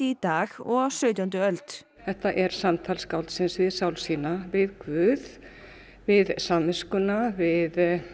dag og á sautjándu öld þetta er samtal skáldsins við sál sína við guð við samviskuna við